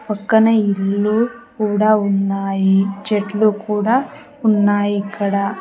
పక్కన ఇల్లు కూడా ఉన్నాయి చెట్లు కూడా ఉన్నాయి ఇక్కడ.